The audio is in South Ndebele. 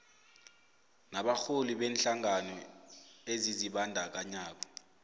nabarholi beenhlangano ezizibandakanyako